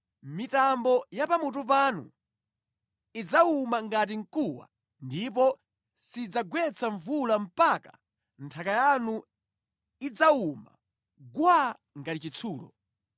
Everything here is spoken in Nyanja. Mitambo ya pamutu panu idzawuma ngati mkuwa ndipo sidzagwetsa mvula mpaka nthaka yanu idzawuma gwaa ngati chitsulo.